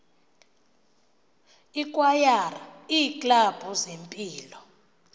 ikwayara iiklabhu zempilo